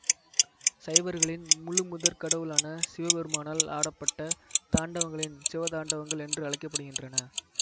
சைவர்களின் முழுமுதற்கடவுளான சிவபெருமானால் ஆடப்பட்ட தாண்டவங்களின் சிவதாண்டவங்கள் என்று அழைக்க படுகின்றன